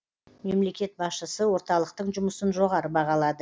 мемлекет басшысы орталықтың жұмысын жоғары бағалады